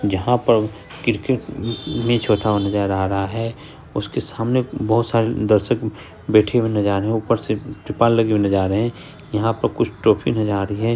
जहाँ पर cricket match होता हुआ नजर आ रहा है उसके सामने बहुत सारे दर्शक बैठे हुए नज़र आ रहे हैं ऊपर से त्रिपाल लगे हुए नज़र आ रहे है यहां पर कुछ ट्रॉफी नजर आ रही है।